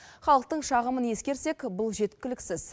халықтың шағымын ескерсек бұл жеткіліксіз